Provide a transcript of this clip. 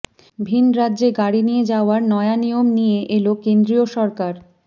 ভিন রাজ্যে গাড়ি নিয়ে যাওয়ার নয়া নিয়ম নিয়ে এল কেন্দ্রীয় সরকার